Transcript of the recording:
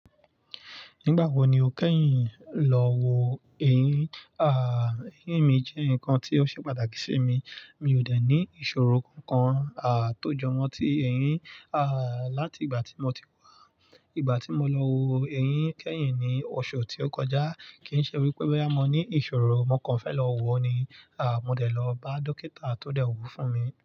Nígbà wo ni o kẹ́yìn lọ wo eyín? À, eyín mi jẹ́ nǹkan tí ó ṣe pàtàkì sí mi. Mi ò dẹ̀ ní ìṣòro kankan à tó jọmọ́ ti eyín à láti ìgbà tí mo ti wá. Ìgbà tí mo lọ wo eyín kẹ́yìn ni oṣù tí ó kọjá. Kì n ṣe wípé boya mo ní ìṣòro mo kan fẹ́ lọ wo ni à mo dẹ̀ lọ bá dókítà tó dẹ̀ wo fún mi.